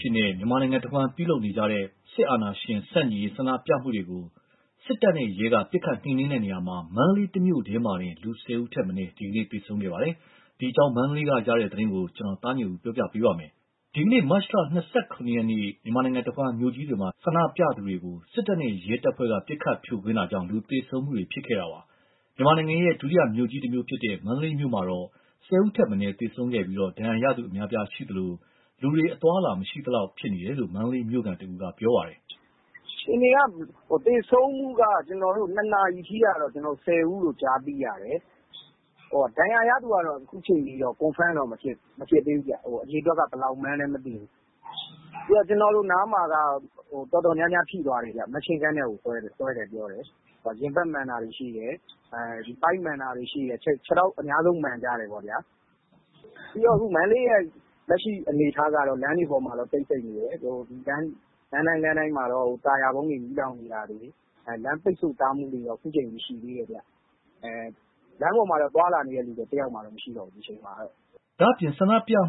ဖြစ် မြန်မာနိုင်ငံတဝှမ်းပြုလုပ်နေကြတဲ့ စစ်အာဏာရှင်ဆန့်ကျင်ရေးဆန္ဒပြမှုတွေကို စစ်တပ်နဲ့ရဲက ပစ်ခတ်နှိမ်နင်းရာမှာ မန္တလေးတမြို့တည်းမှာပဲ လူ ၁၀ ဦးထက်မနည်း သေဆုံးမှုရှိခဲ့ပါတယ်။ ဒီအကြောင်း မန္တလေးကရတဲ့သတင်းကို ကိုသားညွန့်ဦး ပြောပြပါမယ်။ ဒီကနေ့ မတ်လ ၂၇ ရက်နေ့ မြန်မာနိုင်ငံတဝှမ်း မြို့ကြီးတွေမှာ ဆန္ဒထုတ်ဖော်သူတွေကို စစ်တပ်ရဲ့ ရဲတပ်ဖွဲ့က ပစ်ခတ်ဖြိုခွင်းတာကြောင့် လူသေဆုံးတာတွေ ဖြစ်ပေါ်ခဲ့ပါတယ်။ မြန်မာနိုင်ငံရဲ့ ဒုတိယမြို့ကြီးတမြို့ဖြစ်တဲ့ မန္တလေးမြို့မှာတော ၁၀ ဦးထက် မနည်းသေဆုံးခဲ့ပြီး ဒဏ်ရာရသူ အများအပြားရှိသလို လူအသွားအလာမရှိသလောက်ဖြစ်နေတယ်လို့ မန္တလေး မြို့ခံတစ်ဦးက ပြောပါတယ်။ “အခြေအနေက ၂ နာရီလောက်ထိ ၁၀ ဦးလို့ ကြားသိရတယ်။ ဒဏ်ရာရတာက အခုချိန်ထိတော့ confirm တော့ မဖြစ်သေးဘူး။ အရေအတွက်က ဘယ်လောက်မှန်းလည်းမသိဘူး။ ကျွန်တော်တို့နားမှာက တော်တော် များများ ထိသွားတယ်ခင်ဗျ။ Machine Gun နဲ့ကို ဆွဲတယ်ပြောတယ်။ ရင်ဘတ်မှန်တာတွေရှိတယ်။ ဗိုက်မှန်တာတွေ ရှိတယ်။ ခြေထောက် အများဆုံးမှန်ကြတယ်ပေါ့ဗျာ။ မန်းလေးရဲ့ လက်ရှိ အနေအထားကတော့ လမ်းတွေပေါ်မှာတော့ တိတ်ဆိတ်နေတယ်။ လမ်းတိုင်းလမ်းတိုင်းမှာတော့ တာယာပုံတွေ မီးလောင်နေတာတွေ လမ်းပိတ်ဆို့တားမှုတွေ အခုချိန်ထိ ရှိသေးတယ်ခင်ဗျ။ လမ်းပေါ်မှာတော့ သွားလာနေတဲ့သူတွေ တယောက်မှ တော့ မရှိတော့ဘူး။” ဒါ့အပြင် ဆန္ဒထုတ်ပစ်ခတ်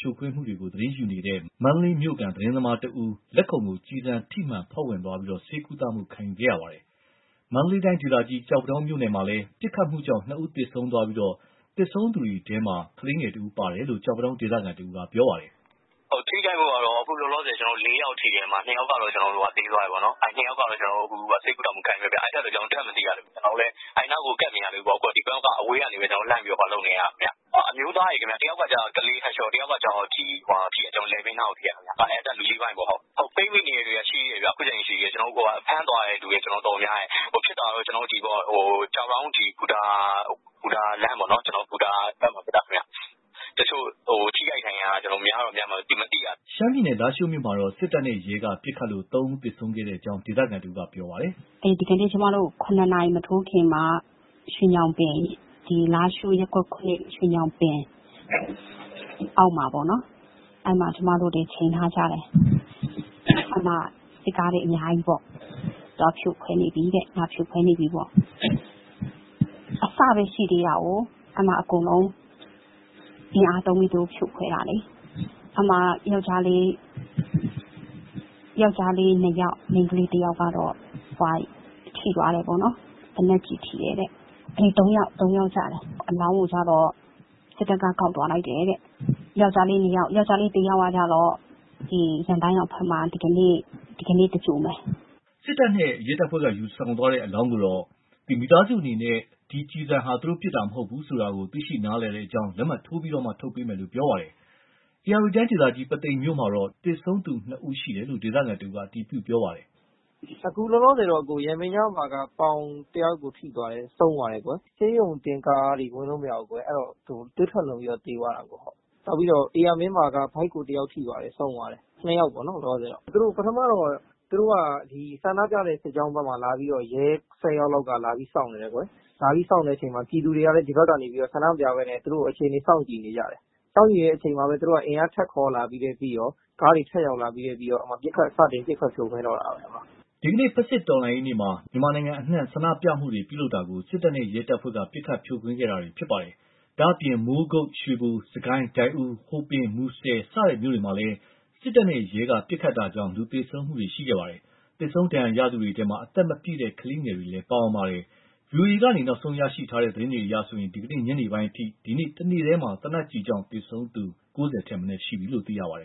ဖြိုခွင်းမှုတွေကို သတင်းရယူနေတဲ့ မန္တလေးမြို့ခံ သတင်းသမားတစ်ဦး လက်ခုံကို ကျည်ဆံထိမှန် ဖောက်ဝင်သွားပြီး ဆေးကုသမှု ခံယူခဲ့ရပါတယ်။ ဒါ့အပြင် မန္တလေးတိုင်းဒေသကြီး ကျောက်ပန်းတောင်းမြို့မှာလည်း ပစ်ခတ်တာကြောင့် ၂ ယောက်သေဆုံး သွားပြီး သေဆုံးသူတွေထဲ ကလေးငယ်တစ်ဦးပါဝင်တယ်လို့ ကျောက်ပန်းတောင်းဒေသခံတဦးကပြောပါတယ်။ “ထိခိုက်မှုကတော့ လောလောဆယ် ၄ ယောက်ထိတယ်။ ၂ ယောက်ကတော့ သေသွားတယ်။ ၂ ယောက် ကတော့ ဆေးကုသမှု ခံယူနေရတယ်။ အဲ့အနား ကပ်လို့မရဘူး။ အဲ့နားနဲ့ အနီးဆုံးမှာ ကြည့်နေတယ်။ ကျတာ အမျိုးသားတွေ။ တယောက်ကတော့ ကလေး၊Headshot ။ နောက်တယောက်ကတော့ လည်ပင်းနားထိတာ။ အဲ့ဒါကတော့ လူကြီးပိုင်းပေါ့။ ပိတ်မိနေသူတွေလည်း ရှိတယ်။ ဖမ်းသွားသူတွေလည်း ရှိတယ်။ ဖြစ်တာက ကျောက်ပန်းတောင်းမြို့လယ်နား ဘူတာရုံလမ်းဘက်ပေါ့။ ထိခိုက်ဒဏ်ရာရတဲ့သူများမယ်။ သိတော့ မသိရသေးဘူး။” ရှမ်းပြည်နယ်၊ လားရှိုးမြို့မှာတော့ စစ်တပ်နဲ့ရဲတပ်ဖွဲ့က ပစ်ခတ်လို့ ၃ ဦးသေဆုံးခဲ့တယ်လို့ ဒေသခံတစ်ဦးကပြောပါတယ်။ “ဒီကနေ့ ကျမတို့ ၇ နာရီမထိုးခင်မှာ လားရှိုးရပ်ကွက် ၇ ရွှေညောင်ပင်မှာ။ အဲ့မှာ ကျမတို့တွေချိန်းထားကြတယ်။ စစ်ကားတွေအများကြီးလာဖြိုခွဲနေပြီ၊ သွားဖြိုခွဲနေပြီတဲ့။ အစပဲရှိသေးတာကို သူတို့က အင်အားသုံးပြီး ဖြိုခွင်းတာ။ အဲ့မှာယောက်ကျားလေး ၂ ယောက်၊ မိန်းကလေး ၁ ယောက်ကတော့ သေနတ်ကျည်ထိတယ်။ ၃ ယောက်ကျတယ်။ မိန်းကလေးအလောင်းကိုကျတော့ စစ်တပ်က ကောက်သွားလိုက်တယ်။ ယောက်ကျားလေး တယေက်ကတော့ ဒီကနေ့ ရန်တိုင်းအောင်ဘက်မှာ သင်္ဂြိုဟ်မယ်။” စစ်တပ်နဲ့ရဲတပ်ဖွဲ့ယူဆောင်သွားတဲ့အလောင်းကိုတော့ သူတို့မပစ်ကြောင်း မိသားစုက သိရှိနားလည်ကြောင်း လက်မှတ်ထိုးပြီးမှ ထုတ်ပေးမယ်လို့ ဆိုပါတယ်။ ဧရာတီတိုင်းဒေသကြီး ပုသိမ်မြို့မှာတော့ သေဆုံး ၂ သူ ၂ ဦးရှိတယ်လို့ ဒေသခံ ၁ ဦးက အတည်ပြုပြောပါတယ်။ “အခုလောလောဆယ် ရာမညမှာတော့ တယောက်က ပေါင်မှာထိသွားတယ်။ ဆုံးသွားတယ်။ ဆေးရုံ တင်ကားတွေ ဝင်လို့မရဘူး။ သွေးထွက်လွန်ပြီး သေသွားတယ်။ ဧရာမင်းမှာက ဗိုက်ကို တယောက် ထိသွားတယ်။ ဆုံးသွားတယ်။ လောလောဆယ်တော့ ၂ ယောက်ပေါ့။ ပထမက သူတို့က ဆန္ဒပြတဲ့ စစ်ကြောင်းဘက်မှာ ရဲ ၁၀ ယောက်လောက်က လာစောင့်နေတယ်။ ပြည်သူတွေကလည်း ဒီဘက်မှာ ဆန္ဒမပြဘဲ အခြေအနေ စောင့်ကြည့်နေကြတယ်။ စောင့်ကြည့်နေတဲ့အချိန်မှာပဲ သူတို့က အင်အားထပ် ခေါ် လာပြီးတော့၊ကားတွေ ထပ်ရောက်လာပြီးတော့ စတင်ပစ်ခတ် ဖြိုခွင်းတောတာပဲ။” ဒီကနေ့ ဖက်ဆစ်တော်လှန်ရေးနေ့မှာ မြန်မာနိုင်ငံအနှံ့ ဆန္ဒထုတ်ဖော်မှုတွေ ပြုလုပ်တာကို စစ်တပ်နဲ့ ရဲတပ်ဖွဲ့က ပစ်ခတ်ဖြိုခွင်းခဲ့တာပါ။ ဒါ့အပြင် မိုးကုတ်၊ ရွှေဘို၊ စစ်ကိုင်း၊ ဒိုက်ဦး၊ ဟိုပင်၊ မူဆယ် စတဲ့ မြို့တွေမှာလည်း စစ်တပ်နဲ့ရဲက ပစ်ခတ်တာကြောင့် လူသေဆုံးတာတွေဖြစ်ခဲ့ပါတယ်။ သေဆုံးဒဏ်ရာရသူတွေထဲမှာ အသက်မ ပြည့်သေးတဲ့ ကလေးငယ်တွေပါ ပါဝင်ပါတယ်။ VOA က နောက်ဆုံးရရှိတဲ့သတင်းအရ ဒီကနေ့ မွန်းလွဲပိုင်း အထိ ဒီနေ့တနေ့တည်း သေနက်ကျည်ကြောင့် သေဆုံးသူ ၉၀ ထက်မနည်း ရှိသွားပြီလို့ သိရပါတယ်